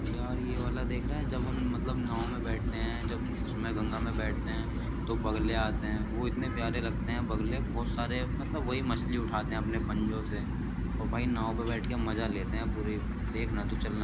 यार ये वाला देख रहा है जब हम मतलब नाव में बैठते हैं जब उसमें गंगा में बैठते हैं तो बगले आते हैं वो इतने प्यारे लगते हैं बगले बहुत सारे मतलब वही मछली उठाते हैं अपने पंजों से और भाई नाव पर बैठ के मजा लेते है पूरे देखना तू चलना।